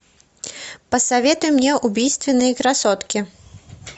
посоветуй мне убийственные красотки